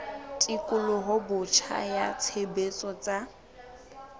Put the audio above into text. tekolo botjha ya tshebetso tsa